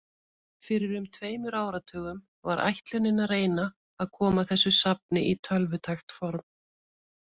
Fyrir um tveimur áratugum var ætlunin að reyna að koma þessu safni í tölvutækt form.